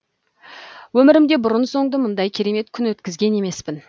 өмірімде бұрын соңды мұндай керемет күн өткізген емеспін